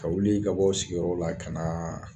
Ka wuli ka bɔ aw sigiyɔrɔ la ka na